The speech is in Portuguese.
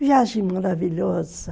Viagem maravilhosa.